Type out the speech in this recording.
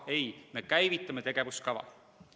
Ei, me käivitame tegevuskava.